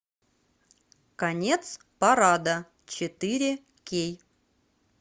конец парада четыре кей